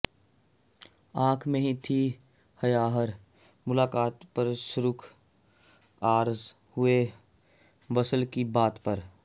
ਆਂਖ ਮੇਂ ਥੀ ਹਯਾ ਹਰ ਮੁਲਾਕਾਤ ਪਰ ਸੁਰਖ਼ ਆਰਜ਼ ਹੁਏ ਵਸਲ ਕੀ ਬਾਤ ਪਰ